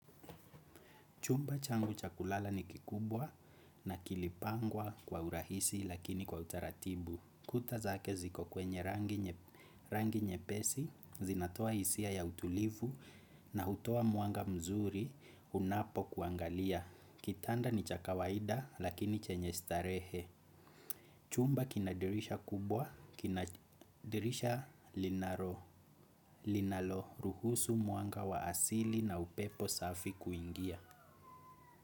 Chumba changu cha kulala ni kikubwa na kilipangwa kwa urahisi lakini kwa utaratibu. Kuta zake ziko kwenye rangi nyepesi, zinatoa isia ya utulivu na utoa mwanga mzuri unapo kuangalia. Kitanda ni cha kawaida lakini chenye starehe. Chumba kina dirisha kubwa, kina dirisha linalo ruhusu mwanga wa asili na upepo safi kuingia.